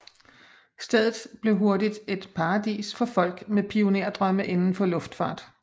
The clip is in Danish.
Stedet blev hurtigt et paradis for folk med pionerdrømme inden for luftfart